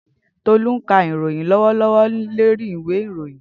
Tolu n ka iroyin lọwọlọwọ lori iwe iroyin.